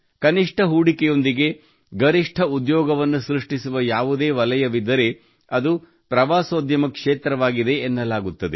ಕನಿಷ್ಠ ಹೂಡಿಕೆಯೊಂದಿಗೆ ಗರಿಷ್ಠ ಉದ್ಯೋಗವನ್ನು ಸೃಷ್ಟಿಸುವ ಯಾವುದೇ ವಲಯವಿದ್ದರೆ ಅದು ಪ್ರವಾಸೋದ್ಯಮ ಕ್ಷೇತ್ರವಾಗಿದೆ ಎನ್ನಲಾಗುತ್ತದೆ